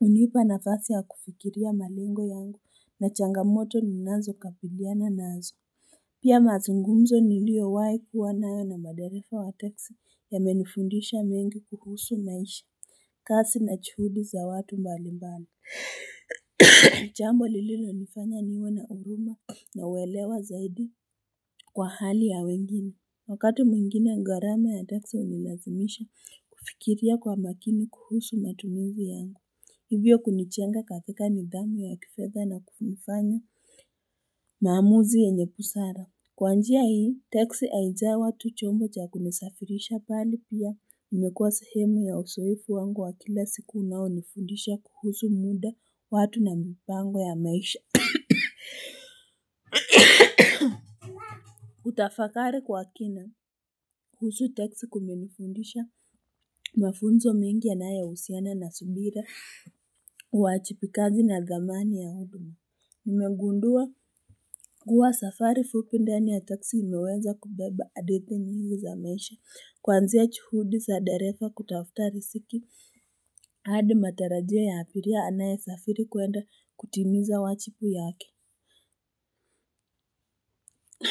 unipa nafasi ya kufikiria malengo yangu na changamoto ninazo kabiliana nazo Pia mazungumzo nilio wah kuwa nayona maderefa wa teksi ya menifundisha mengi kuhusu maisha kazi na juhudi za watu mbalimbali Nijambo lililo nifanya niwe na uruma na uelewa zaidi kwa hali ya wengine Wakati mwingine gharama ya teksi unilazimisha kufikiria kwa makini kuhusu matumizi yangu Hivyo kunijenga kakika nidhamu ya kifedha na kunifanya maamuzi yenyebusara Kwanjia hii teksi haijawa tu chombo cha kunisafirisha bali pia imekuwa sehemu ya uzoefu wangu wa kila siku unao nifundisha kuhusu muda watu na mipango ya maisha kutafakari kwa kina kuhusu teksi kumenifundisha mafunzo mengi yanay husiana na subira uajibikaji na thamani yangu Nimegundua kuwa safari fupi ndani ya teksi inaweza kubeba adithi nyingi za maisha Kwanzia juhudi za darefa kutafuta riziki hadi matarajio ya abiria anaye safiri kwenda kutimiza wajibu wake.